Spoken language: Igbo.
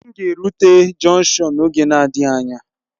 M ga erụte jọnkshọn n'oge na-adịghị anya